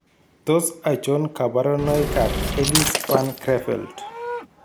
Tos achon kabarunaik ab Ellis Van Creveld ?